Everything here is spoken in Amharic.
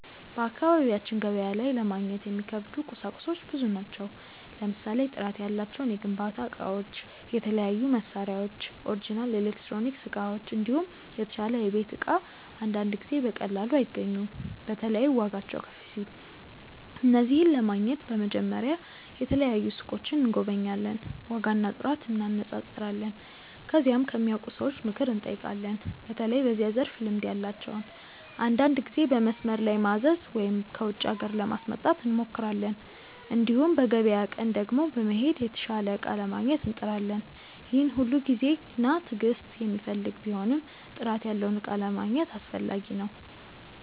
በአካባቢያችን ገበያ ላይ ለማግኘት የሚከብዱ ቁሳቁሶች ብዙ ናቸው። ለምሳሌ ጥራት ያላቸው የግንባታ እቃዎች፣ የተለያዩ መሳሪያዎች፣ ኦሪጅናል ኤሌክትሮኒክስ እቃዎች፣ እንዲሁም የተሻለ የቤት እቃ አንዳንድ ጊዜ በቀላሉ አይገኙም። በተለይ ዋጋቸው ከፍ ሲል። እነዚህን ለማግኘት በመጀመሪያ የተለያዩ ሱቆችን እንጎበኛለን፣ ዋጋና ጥራት እንነጻጸራለን። ከዚያም ከሚያውቁ ሰዎች ምክር እንጠይቃለን፣ በተለይ በዚያ ዘርፍ ልምድ ያላቸውን። አንዳንድ ጊዜ በመስመር ላይ ማዘዝ ወይም ከውጪ ሀገር ለማስመጣት እንሞክራለን። እንዲሁም በገበያ ቀን ቀድሞ በመሄድ የተሻለ እቃ ለማግኘት እንጥራለን። ይህ ሁሉ ጊዜና ትዕግስት የሚፈልግ ቢሆንም ጥራት ያለውን እቃ ለማግኘት አስፈላጊ ነው።